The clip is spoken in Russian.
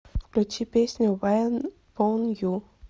включи песню вайн пон ю